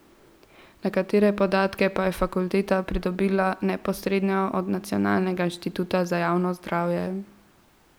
Nekatere podatke pa je fakulteta pridobila neposredno od Nacionalnega inštituta za javno zdravje.